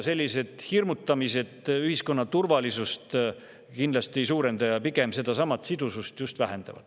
Sellised hirmutamised ühiskonna turvalisust kindlasti ei suurenda, pigem vähendavad sidusust.